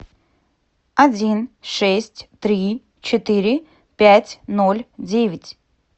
один шесть три четыре пять ноль девять